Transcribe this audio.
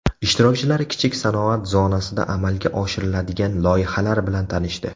Ishtirokchilar kichik sanoat zonasida amalga oshiriladigan loyihalar bilan tanishdi.